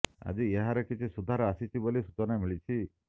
ଆଜି ଏହାର କିଛି ସୁଧାର ଆସିଛି ବୋଲି ସୂଚନା ମିଳିଛି